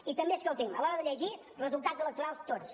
i també escolti’m a l’hora de llegir resultats electorals tots